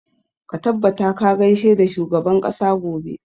Ka tabbata ka gaishe da shugaban ƙasa gobe!